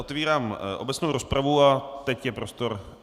Otevírám obecnou rozpravu a teď je prostor.